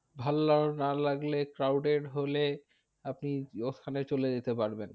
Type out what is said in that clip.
ভালো না লাগলে crowded হলে আপনি ওখানে চলে যেতে পারবেন।